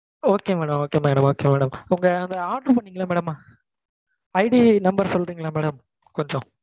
Okay madam okay madam okay madam உங்க அந்த order பண்ணிங்கல்ல madamIDnumber சொல்றீங்களா madam கொஞ்சம்?